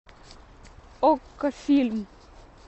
окко фильм